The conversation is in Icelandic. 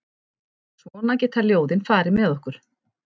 Svona geta ljóðin farið með okkur.